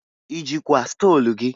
I jikwa stolu gị?